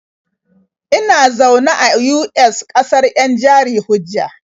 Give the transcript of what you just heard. Ina zaune a US, ƙasar 'yan jari-hujja.